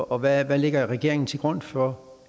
og hvad lægger regeringen til grund for